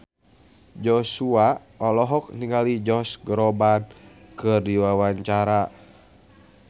Joshua olohok ningali Josh Groban keur diwawancara